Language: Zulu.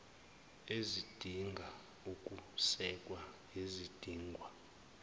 ezidinga ukusekwa ezidingwa